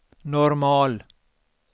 normal